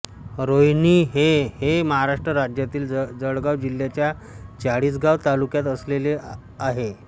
रोहिणी हे हे महाराष्ट्र राज्यातल्या जळगाव जिल्याच्या चाळीसगाव तालुक्यात असलेले आहे